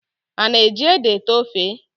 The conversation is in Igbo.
A na-eji ede ete ofe?